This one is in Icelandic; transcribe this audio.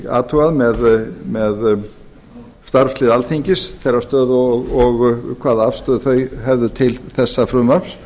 athugað með starfslið alþingis þess stöðu og hvaða afstöðu það hefði til þessa frumvarps